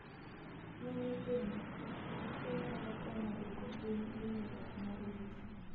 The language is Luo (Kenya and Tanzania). Ne nyithindo, rwako ogudu nyalo konyo duoko piny inyruok mar wich